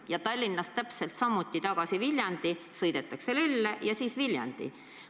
Ja Tallinnast tagasi Viljandi sõidetakse nii, et kõigepealt Lelle ja sealt Viljandisse.